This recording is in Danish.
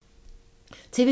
TV 2